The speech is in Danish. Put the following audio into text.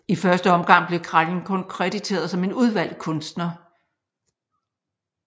I første omgang blev Kralj kun krediteret som en udvalgt kunstner